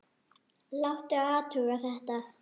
Láta athuga þetta.